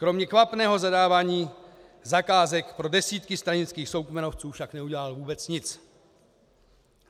Kromě kvapného zadávání zakázek pro desítky stranických soukmenovců však neudělal vůbec nic.